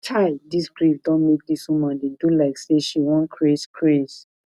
chai dis grief don make dis woman dey do like sey she wan craze craze